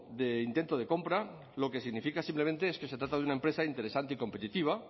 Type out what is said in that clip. de intento de compra lo que significa simplemente es que se trata de una empresa interesante y competitiva